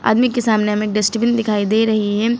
आदमी के सामने हमें डस्टबिन दिखाई दे रही है।